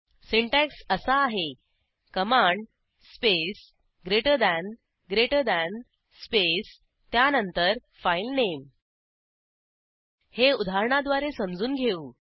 syntax असा आहे command space greater than greater than space त्यानंतर फाइल नामे हे उदाहरणाद्वारे समजून घेऊ